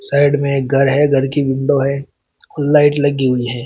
Side में एक घर है घर की विंडो है और लाइट लगी हुई है।